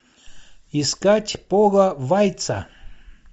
искать пола вайца